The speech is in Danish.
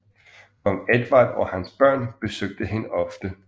Kong Edvard og hans børn besøgte hende ofte